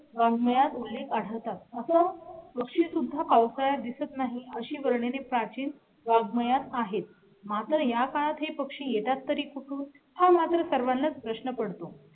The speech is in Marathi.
रांगोळी काढतात असं पक्षी सुद्धा पावसाळ्यात दिसत नाही अशी वर्णने प्राचीन वाङ्मयात आहेत. मग जर या काळात हे पक्षी येतात तरी कुठून हा माझा सर्वांनाच प्रश्न पडतो.